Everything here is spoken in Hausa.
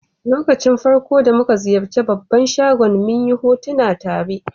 Lokacin farko'n da mun ziyace babban shagon, mun yi hotuna tare.